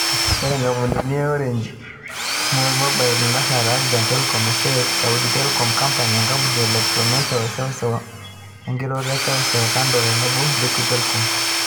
Ore nkampunini naa Orange, Snail Mobile, Etisalat, Axian, Telkom SA, Saudi Telecom Company, enkampuni e Electromecha e seusew, enkiroroto e seusew e Kandu otenebo Liguid Telcom.